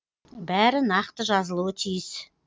бәрі нақты жазылуы тиіс